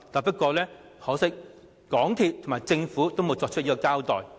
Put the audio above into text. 不過，可惜的是，港鐵公司和政府均沒有作出交代。